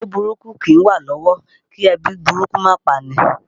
Owó burúkú kìí wà lọ́wọ́ kí ebi burúkú máa pani